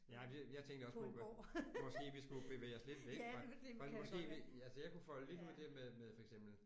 Nej jeg tænkte også på måske vi skulle bevæge os lidt væk fra fra måske vi altså jeg kunne folde lidt ud det der med med for eksempel